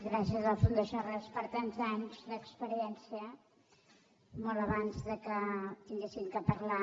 gràcies a la fundació arrels per tants anys d’experiència molt abans que haguéssim de parlar